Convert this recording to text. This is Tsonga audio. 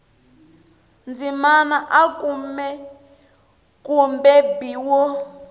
ndzimana a kumbe b wo